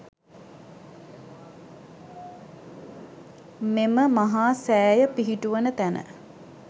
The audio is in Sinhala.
මෙම මහා සෑය පිහිටුවන තැන